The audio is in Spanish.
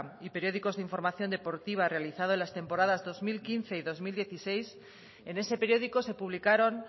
y periódicos de información deportiva realizado las temporadas dos mil quince y dos mil dieciséis en ese periódico se publicaron